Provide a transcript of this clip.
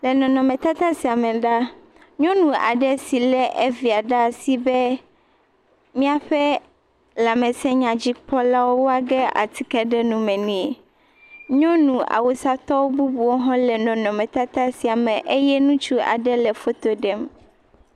Le nɔnɔme tata sia me la, nyɔnu aɖe si le via ɖe asi be míaƒe lãmesewɔlawo na ge atike ɖe nume ne. Nyɔnu awusa tɔwo bubuwo hã le nɔnɔme tata sia me ye ŋutsu aɖe le foto ɖem.